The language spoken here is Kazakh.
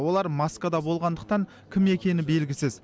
олар маскада болғандықтан кім екені белгісіз